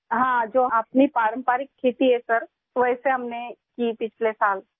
ہاں، جو ہماری روایتی کھیتی ہے جناب، ہم نے پچھلے سال کی تھی